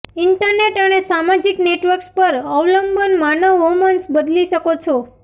internet અને સામાજિક networks પર અવલંબન માનવ હોર્મોન્સ બદલી શકો છો